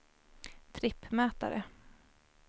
trippmätare